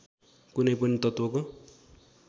कुनै पनि तत्त्वको